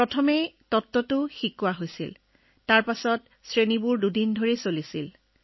প্ৰথমে তাত্ত্বিক দিশখিনি শিকোৱা হৈছিল তাৰ পিছত দুদিনৰ বাবে ক্লাছ হৈছিল